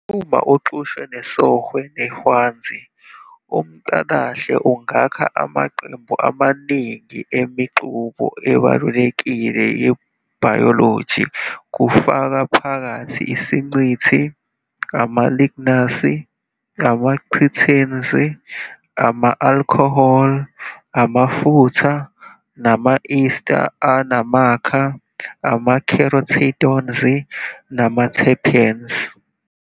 Uma uxutshwe nesOhwe neHwanzi, umCalahle ungakha amaqembu amaningi eMixube ebalulekile yebhayoloji kufaka phakathi isiNcithi, ama-lignans, ama-chitin, ama-alcohol, amafutha, nama-ester anamakha, ama-carotenoids nama-terpenes.